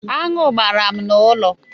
Aṅụ gbara m n'ụlọ.